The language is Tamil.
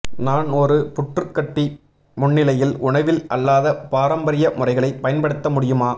நான் ஒரு புற்று கட்டி முன்னிலையில் உணவில் அல்லாத பாரம்பரிய முறைகளை பயன்படுத்த முடியுமா